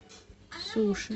суши